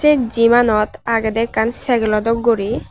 sey jimanot agedey ekkan cyclo dok guri.